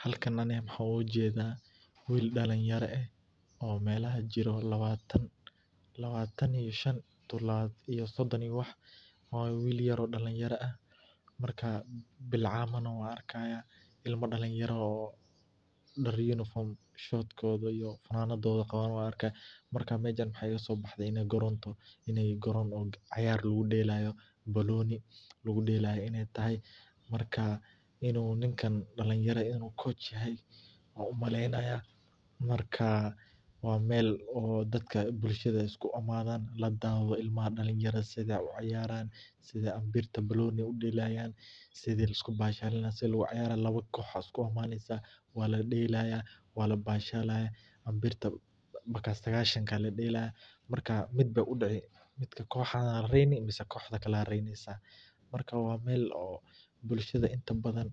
Halkani waxan ogajeda wiil dalinyara eh oo melaha jiroo lawatan iyo shan tu sodon iyo wah, wiil yaf oo dalinyara ah marka bilcantana wan arkaya ilma dalinyara oo daar uniform, short iyo fanadadow qawaan marka meshan waxa igasobaxde inat garoon tahay inay garoon oo ciyar lagudelayo inay tahay marka inu ninka dalinyara coach yahay ayan umaleynaya, marka wa meel oo dadaka dalinyarada iskuimadan si ay uciyaraan, sidha ambirta baboni udelayan, sidhi liskubashalinay lawo koox aya iskuimaneysa waladelaya, wala ashalaya ambirta markas saqashanka aya dalelaya, marku udacay xokta lagareyo marka wa meel oo bulshada badan